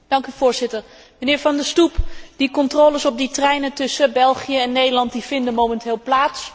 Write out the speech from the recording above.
Voorzitter, mijnheer Van der Stoep, die controles op die treinen tussen België en Nederland vinden momenteel plaats.